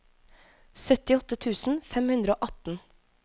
syttiåtte tusen fem hundre og atten